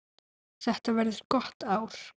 Þetta verður gott ár.